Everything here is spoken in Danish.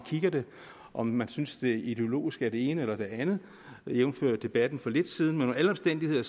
ser det om man synes det ideologisk er det ene eller det andet jævnfør debatten for lidt siden men under alle omstændigheder